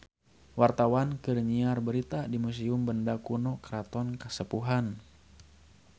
Wartawan keur nyiar berita di Museum Benda Kuno Keraton Kasepuhan